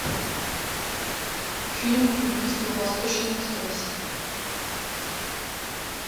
фильм убийство в восточном экспрессе